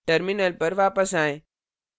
terminal पर वापस आएं